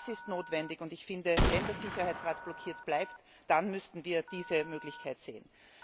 Das ist notwendig, und ich finde, wenn der Sicherheitsrat blockiert bleibt, dann müssten wir diese Möglichkeit sehen.